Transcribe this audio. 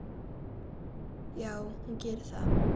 Já, hún gerir það.